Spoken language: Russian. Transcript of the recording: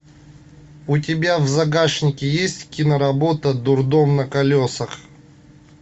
у тебя в загашнике есть киноработа дурдом на колесах